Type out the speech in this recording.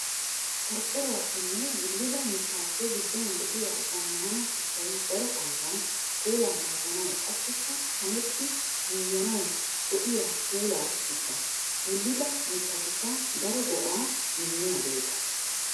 Qorqqoruwappenne wulidda mittappe giduwan de'iya zamaana shuchchay daro ambban puula naaganawu qassikka kaametti yuuyanawu go'iya puula shuchcha. Wulidda mitattikka daro go'a immiyaagetta.